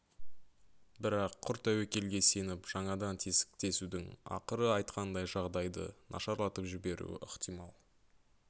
бірақ құр тәуекелге сеніп жаңадан тесік тесудің ақыры айтқандай жағдайды нашарлатып жіберуі ықтимал